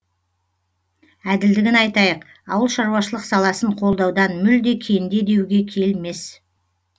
әділдігін айтайық ауылшаруашылық саласын қолдаудан мүлде кенде деуге келмес